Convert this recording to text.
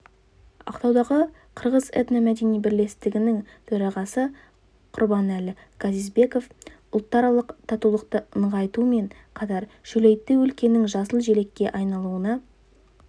ақтаудағы қырғыз этно-мәдени бірлестігінің төрағасы құрбанәлі газизбеков ұлтаралық татулықты нығайтумен қатар шөлейтті өлкенің жасыл желекке айналуына